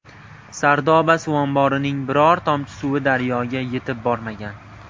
Sardoba suv omborining biror tomchi suvi daryoga yetib bormagan.